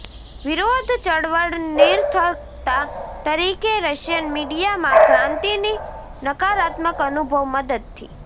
વિરોધ ચળવળ નિરર્થકતા તરીકે રશિયન મીડિયા માં ક્રાંતિની નકારાત્મક અનુભવ મદદથી